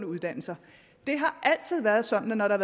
uddannelser det har altid været sådan at når der